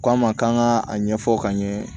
K'a ma k'an ka a ɲɛfɔ ka ɲɛ